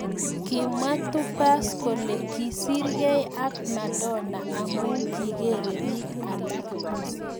Kimwaa Tupac kolee kisir gei ak Madona amu kigeree piik alaak